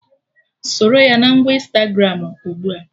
Soro ya na ngwa Ịnstagramụ ugbua!